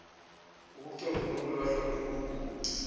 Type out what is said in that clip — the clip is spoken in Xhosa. ukucocwa nokulahlwa kwenkunkuma